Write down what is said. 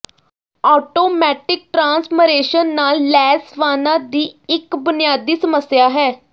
automatic transmission ਨਾਲ ਲੈਸ ਵਾਹਨਾਂ ਦੀ ਇੱਕ ਬੁਨਿਆਦੀ ਸਮੱਸਿਆ ਹੈ